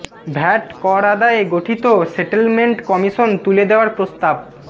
VAT কর আদায়ে গঠিত সেটলমেন্ট কমিশন তুলে দেওয়ার প্রস্তাব